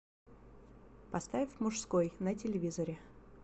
поставь мужской на телевизоре